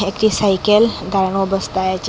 একটি সাইকেল দাঁড়ানো অবস্থায় আচে ।